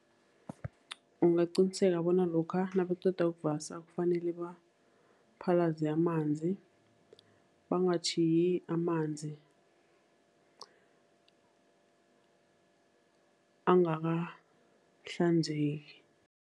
Ungaqiniseka bona lokha nabaqeda ukuvasa kufanele baphalaze amanzi, bangatjhiyi amanzi angakahlanzeki.